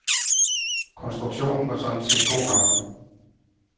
Konstruktionen var sådan set god nok.